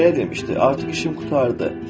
Belə demişdi: “Artıq işim qurtardı.